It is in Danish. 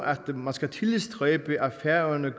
at man skal tilstræbe at færøerne